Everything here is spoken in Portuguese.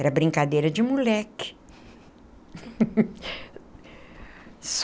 Era brincadeira de moleque.